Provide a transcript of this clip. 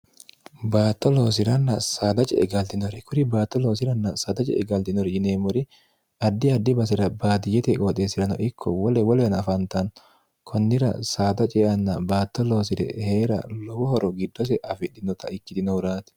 baatto loosi'ranna saada ce'e galtinori kuri baatto loosiranna saada ce e galtinori yineemmori addi addi basi'ra baatiyyete qooxeessi'rano ikko qooxeessi'r anafaantann kunnira saada ceeanna baatto loosire hee'ra lowo horo giddose afidhinota ikkitino huraati